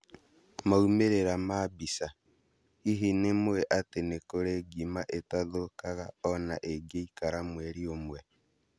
Maumĩrĩra ma mbica, hihi nĩmũĩ atĩ nĩkũrĩ ngima itathũkagaa ona ĩngĩikara mweri ũmwe